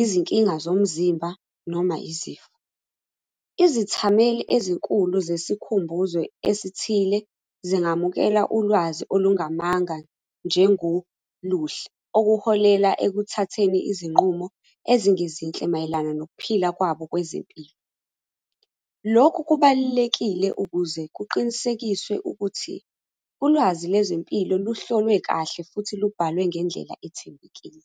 izinkinga zomzimba, noma izifo. Izithameli ezinkulu zesikhumbuzo esithile, zingamukela ulwazi olungamanga njengoluhle okuholela ekuthatheni zinqumo ezingezinhle mayelana nokuphila kwabo kwezempilo. Lokhu kubalulekile ukuze kuqinisekiswe ukuthi, ulwazi lezempilo luhlolwe kahle, futhi lubhalwe ngendlela ethembekile.